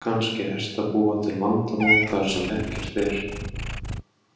Kannski ertu að búa til vandamál þar sem ekkert er.